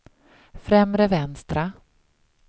främre vänstra